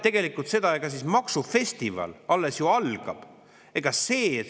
See tähendab, et maksufestival ju alles algab.